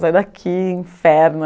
Sai daqui, inferno!